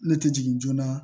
Ne tɛ jigin joona